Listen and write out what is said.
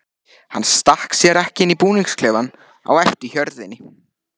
Hann stakk sér ekki inn í búningsklefann á eftir hjörðinni.